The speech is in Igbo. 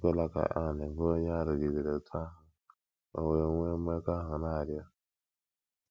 Ekwela, ka Anne, bụ́ onye a rụgidere otú ahụ o wee nwee mmekọahụ, na - arịọ.